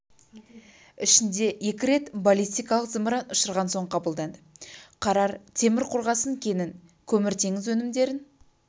ішінде екі рет баллисткалық зымыран ұшырған соң қабылданды қарар темір қорғасын кенін көмір теңіз өнімдерін